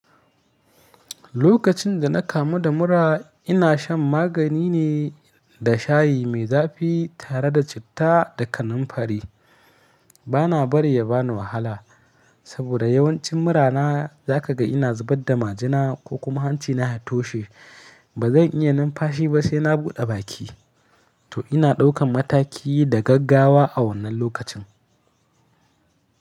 Lokacin da na kamu da mura, ina shan magani ne da shayi mai zafi tare da citta da kanamfari. Bana bari ya bani wahala saboda yawancin mura na za ka ga ina zubar da majina ko kuma hanci na ya toshe. Ba zan iya numfashi ba sai na bude baki. To ina ɗaukan mataki da gaggawa a wannan lokacin.